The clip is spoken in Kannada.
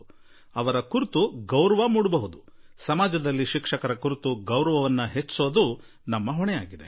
ಒಂದು ರೀತಿಯ ಗೌರವ ಹುಟ್ಟುತ್ತದೆ ಮತ್ತು ಸಮಾಜದಲ್ಲಿ ನಮ್ಮ ಶಿಕ್ಷಕರ ಕುರಿತು ಗೌರವ ಹೆಚ್ಚಿಸುವುದು ನಮ್ಮೆಲ್ಲರ ಹೊಣೆಗಾರಿಕೆ ಆಗಿದೆ